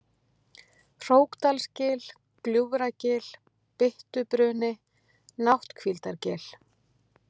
Hrókdalsgil, Gljúfragil, Byttubruni, Nátthvíldargil